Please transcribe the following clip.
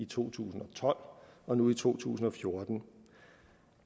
to tusind og tolv og nu i to tusind og fjorten